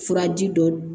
Furaji dɔ